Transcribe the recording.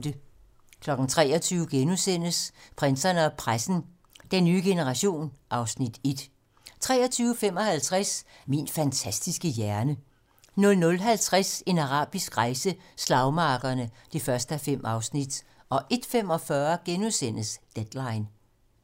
23:00: Prinserne og pressen - Den nye generation (Afs. 1)* 23:55: Min fantastiske hjerne 00:50: En arabisk rejse: Slagmarkerne (1:5) 01:45: Deadline *